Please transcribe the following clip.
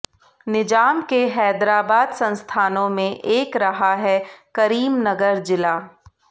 निजाम के हैदराबाद संस्थानों में एक रहा है करीमनगर जिला